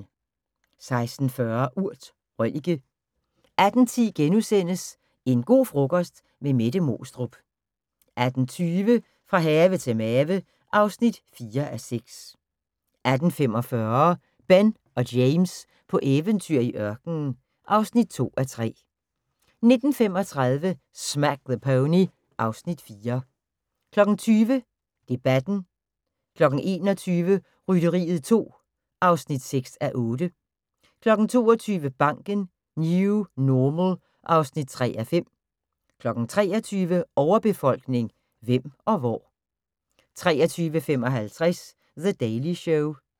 16:40: Urt: Røllike 18:10: En go' frokost - med Mette Moestrup * 18:20: Fra have til mave (4:6) 18:45: Ben og James på eventyr i ørkenen (2:3) 19:35: Smack the Pony (Afs. 4) 20:00: Debatten 21:00: Rytteriet 2 (6:8) 22:00: Banken - New Normal (3:5) 23:00: Overbefolkning – hvem og hvor? 23:55: The Daily Show